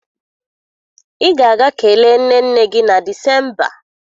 Ị ga-aga kelee nne nne gị na Disemba!